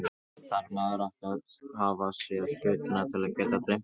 Þarf maður ekki að hafa séð hlutina til að geta dreymt þá?